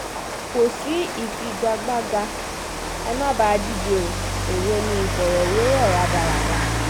kò sí ìfigagbága ẹ má um bà á díje o um èwo ni ìfọ̀rọ̀wérọ̀ rádaràda